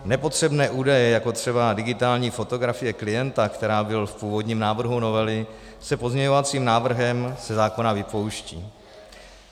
Nepotřebné údaje, jako třeba digitální fotografie klienta, která byla v původním návrhu novely, se pozměňovacím návrhem ze zákona vypouští.